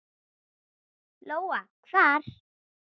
Lóa: Hvar?